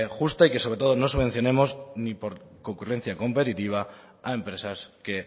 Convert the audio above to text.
justa y que sobre todo no subvencionemos ni por concurrencia competitiva a empresas que